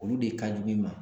Olu de ka ɲi i ma